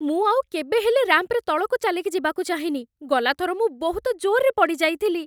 ମୁଁ ଆଉ କେବେ ହେଲେ ରାମ୍ପ୍‌ରେ ତଳକୁ ଚାଲିକି ଯିବାକୁ ଚାହେଁନି । ଗଲା ଥର ମୁଁ ବହୁତ ଜୋର୍‌ରେ ପଡ଼ିଯାଇଥିଲି ।